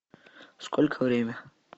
сколько время